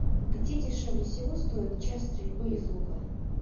где дешевле всего стоит час стрельбы из лука